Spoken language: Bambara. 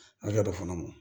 Hakɛ dɔ fana ma